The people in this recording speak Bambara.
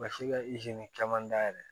Ma se ka caman dayɛlɛ